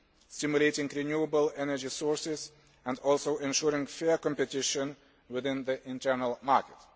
stimulating renewable energy sources and ensuring fair competition within the internal market.